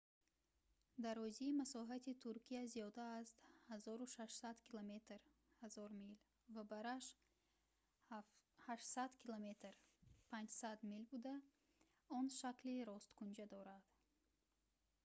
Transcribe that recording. дарозии масоҳати туркия зиёда аз 1600 километр 1000 мил ва бараш 800 км 500 мил буда он шакли росткунҷа дорад